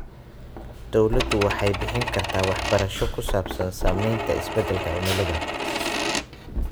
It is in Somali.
Dawladdu waxay bixin kartaa waxbarasho ku saabsan saamaynta isbeddelka cimilada.